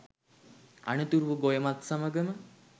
අනතුරුව ගොයමත් සමගම